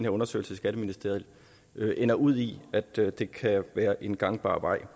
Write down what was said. undersøgelse i skatteministeriet ender ud i at det det kan være en gangbar vej